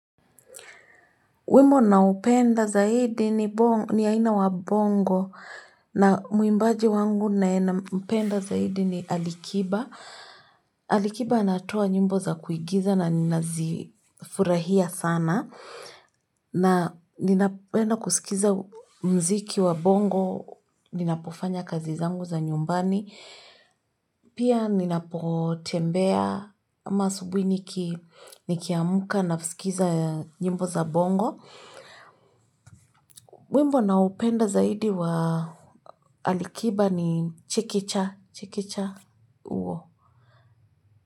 Wema na upenda zaidi ni aina wa bongo na muimbaji wangu nae nam penda zaidi ni alikiba. Alikiba natoa nyumbo za kuigiza na nina zifurahia sana. Na ninapenda kusikiza muziki wa bongo, nina pofanya kazi zangu za nyumbani. Pia nina po tembea ama asubuhi ni kiamka na sikiza nyimbo za bongo. Wimbo na upenda zaidi wa alikiba ni chikicha, chikicha uwo.